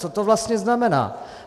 Co to vlastně znamená?